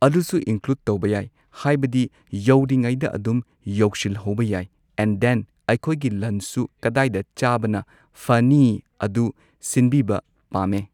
ꯑꯗꯨꯁꯨ ꯏꯟꯀ꯭ꯂꯨꯗ ꯇꯧꯕ ꯌꯥꯏ ꯍꯥꯏꯕꯗꯤ ꯌꯧꯔꯤꯉꯩꯗ ꯑꯗꯨꯨꯝ ꯌꯧꯁꯤꯜꯍꯧꯕ ꯌꯥꯏ ꯑꯦꯟ ꯗꯦꯟ ꯑꯩꯈꯣꯏꯒꯤ ꯂꯟꯆꯁꯨ ꯀꯗꯥꯏꯗ ꯆꯥꯕꯅ ꯐꯅꯤ ꯑꯗꯨ ꯁꯤꯟꯕꯤꯕ ꯄꯥꯝꯃꯦ